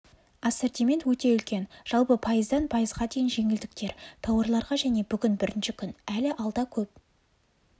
ассортимент өте үлкен жалпы пайыздан пайызға дейін жеңілдіктер тауарларға және бүгін бірінші күн әлі алда көп